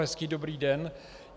Hezký dobrý den.